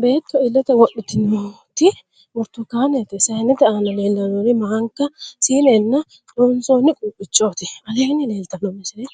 Beetto illete wodhitinoti burtukkaanete. Sayinete aana leellannori maanka, siinenna doonsoonni quuphichooti. Aleenni leeltanno misile